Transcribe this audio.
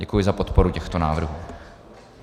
Děkuji za podporu těchto návrhů.